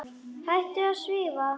Hættur að svífa.